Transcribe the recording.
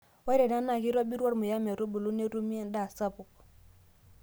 Ore ena naa keitobiru ormuya metubulu netumi endaa sapuk.